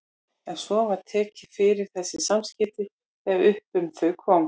En svo var tekið fyrir þessi samskipti þegar upp um þau komst.